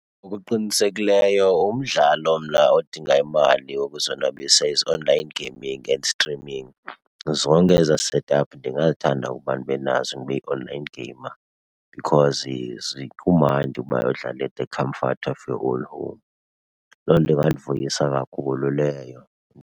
Ngokuqinisekileyo umdlalo mna odinga imali wokuzonwabisa is online gaming and streaming. Zonke ezaa setup ndingazithanda ukuba ndibe nazo, ndibe yi-online gamer because kumandi uba udlale at the comfort of your own home. Loo nto ingandivuyisa kakhulu leyo.